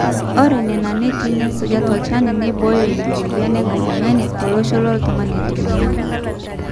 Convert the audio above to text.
ore nena neeti naaisuja tolchani neibooyo ina mweyian enkajang'ani tolosho o toltung'ani oitumia